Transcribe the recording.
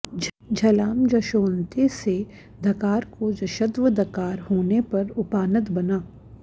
झलां जशोऽन्ते से धकार को जश्त्व दकार होने पर उपानद् बना